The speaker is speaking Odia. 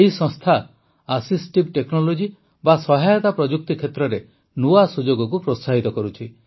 ଏହି ସଂସ୍ଥା ଆସିସ୍ଟିଭ୍ ଟେକ୍ନୋଲୋଜି ବା ସହାୟତା ପ୍ରଯୁକ୍ତି କ୍ଷେତ୍ରରେ ନୂଆ ସୁଯୋଗକୁ ପ୍ରୋତ୍ସାହିତ କରୁଛି